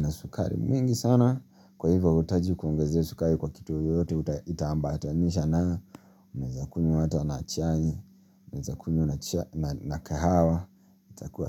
na sukari mingi sana kwa hivyo huhitaji kuongezea sukari kwa kitu yoyote itaambatanisha nayo. Unaweza kunywa hata na chai unaweza kunywa na kahawa itakuwa sawa.